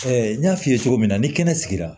n y'a f'i ye cogo min na ni kɛnɛ sigira